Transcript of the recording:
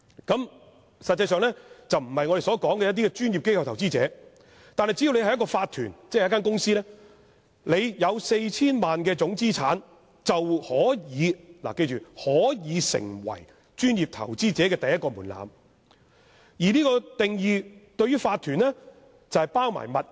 這實際上並不是我們所說的專業的機構投資者，但只要一個法團或公司的總資產達到 4,000 萬元，便已達到專業投資者的第一個門檻，而這個定義之下的法團資產是包括物業的。